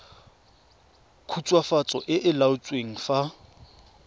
khutswafatso e e laotsweng fa